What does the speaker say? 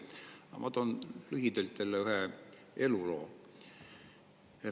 Aga ma toon lühidalt jälle ühe eluloo.